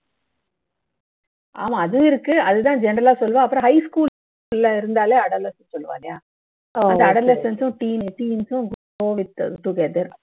ஆமா அது இருக்கு அது தான் general ஆ சொல்லுவோம் அப்பறம் high school ல இருந்தாலே adolescence னு சொல்லுவா இல்லையா அதான் adolescence உம் டீ teens உம்